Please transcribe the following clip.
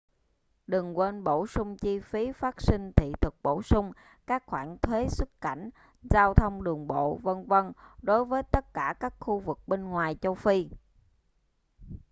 đừng quên bổ sung chi phí phát sinh thị thực bổ sung các khoản thuế xuất cảnh giao thông đường bộ v.v. đối với tất cả các khu vực bên ngoài châu phi